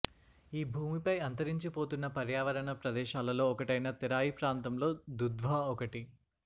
ఈ భూమి పై అంతరించి పోతున్న పర్యావరణ ప్రదేశాలలో ఒకటైన తెరాయి ప్రాంతం లో దుధ్వా ఒకటి